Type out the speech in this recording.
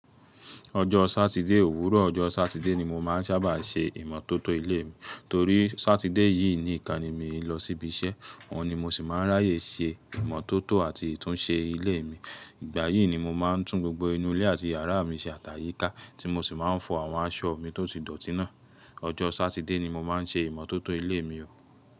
Ọjọ́ Sátidé, òwúrọ̀ ọjọ́ Sátidé ni mo máa ń sábà ṣe ìmọ́tótó ilé mi. Torí Sátidé yìí ni ìkaní mi ń lọ síbi iṣẹ́, ọ̀un ni mo sì máa ń ráyè ṣe ìmọ́tótó àti ìtúnṣe ilé mi. Ìgbà yìí ni mo máa ń tún gbogbo inú ilé àti yàrá mi ṣe àtàyíká tí mo sì máa ń fọ àwọn aṣọ mi tó ti dọ̀tí náà. Ọjọ́ Sátidé ni mo máa ń ṣe ìmọ́tótó ilé mi o.